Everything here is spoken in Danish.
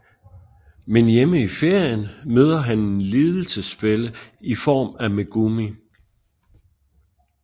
Men hjemme i ferien møder han en lidelsesfælle i form af Megumi